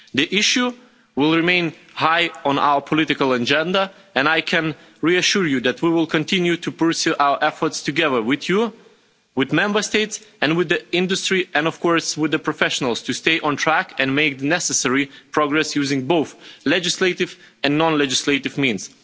The issue will remain high on our political agenda, and I can reassure you that we will continue to pursue our efforts together with you, with Member States and with the industry, and, of course, with the professionals, to stay on track and make the necessary progress using both legislative and non-legislative means.